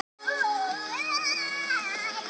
Varmar, hvað er klukkan?